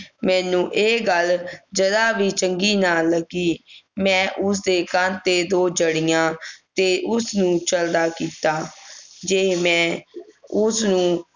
ਮੈਨੂੰ ਇਹ ਗੱਲ ਜਰਾ ਵੀ ਚੰਗੀ ਨਾ ਲਗੀ ਮੈਂ ਉਸ ਦੇ ਕੰਨ ਤੇ ਦੋ ਜੜੀਆਂ ਤੇ ਉਸ ਨੂੰ ਚਲਦਾ ਕੀਤਾ ਜੇ ਮੈਂ ਉਸ ਨੂੰ